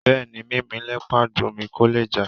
Bẹ́ẹ̀ni, Mímì lẹpọ̀n àgbò ńmì; kò lè já.